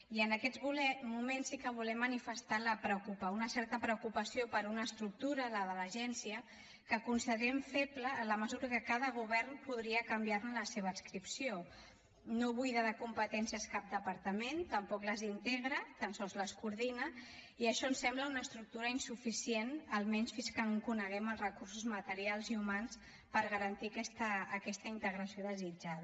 i en aquests moments sí que volem manifestar una certa preocupació per una estructura la de l’agència que considerem feble en la mesura que cada govern podria canviar ne la seva adscripció no buida de competències cap departament tampoc les integra tan sols les coordina i això ens sembla una estructura insuficient almenys fins que no en coneguem els recursos materials i humans per garantir aquesta integració desitjada